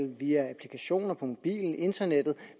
via applikationer på mobilen internettet